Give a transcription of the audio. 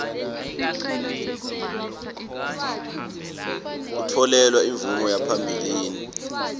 kutfolelwa imvume yaphambilini